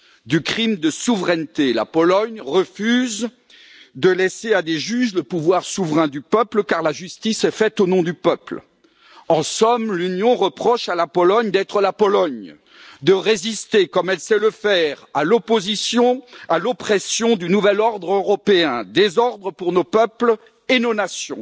Du crime de souveraineté la Pologne refuse de laisser à des juges le pouvoir souverain du peuple, car la justice est faite au nom du peuple. En somme, l'Union reproche à la Pologne d'être la Pologne. De résister comme elle sait le faire à l'opposition, à l'oppression du nouvel ordre européen, désordre pour nos peuples et nos nations.